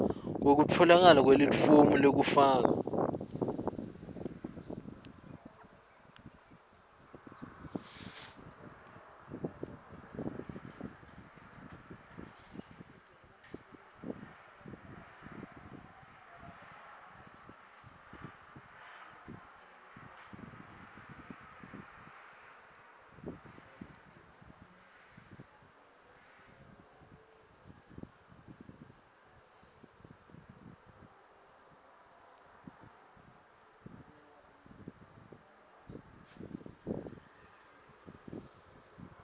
kwekutfolakala kwelifomu lekufaka